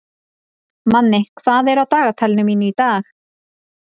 Manni, hvað er á dagatalinu mínu í dag?